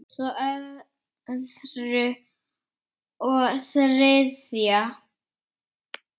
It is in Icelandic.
Svo öðru og þriðja.